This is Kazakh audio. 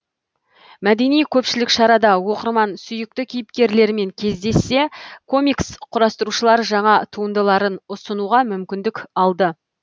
мәдени көпшілік шарада оқырман сүйікті кейіпкерлерімен кездессе комикс құрастырушылар жаңа туындыларын ұсынуға мүмкіндік алды